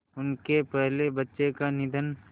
उनके पहले बच्चे का निधन